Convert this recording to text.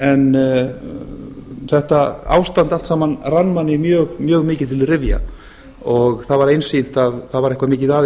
en þetta ástand allt saman rann manni mjög mikið til rifja það var einsýnt að það var eitthvað mikið að